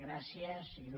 gràcies il